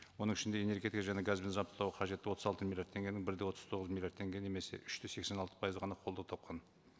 оның ішінде энергетика және газбен жабдықтауға қажетті отыз алты миллиард теңгенің бір де отыз тоғыз миллиард теңге немесе үш те сексен алты пайызы ғана қолдау тапқан